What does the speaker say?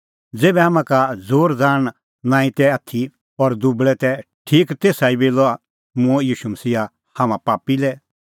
ज़ेभै हाम्हां का ज़ोरज़ाहण नांईं तै आथी और दुबल़ै तै ठीक तेसा ई बेला मूंअ ईशू मसीहा हाम्हां पापी लै